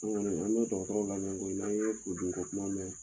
An kɔni an bɛ lamɛn koyi n'an ye furudimi ko kuma mɛn